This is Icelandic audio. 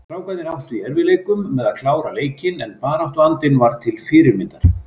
Strákarnir áttu í erfiðleikum með að klára leikinn en baráttuandinn var til fyrirmyndar.